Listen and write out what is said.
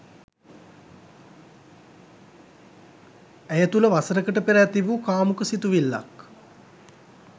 ඇය තුළ වසරකට පෙර ඇති වූ කාමුක සිතුවිල්ලක්